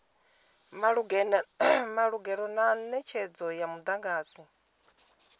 malugana na netshedzo ya mudagasi